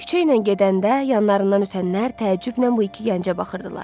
Küçəylə gedəndə, yanlarından ötənlər təəccüblə bu iki gəncə baxırdılar.